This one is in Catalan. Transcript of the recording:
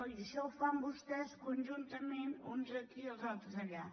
i això ho fan vostès conjuntament uns aquí i els altres allà